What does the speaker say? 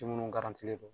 Minnu len don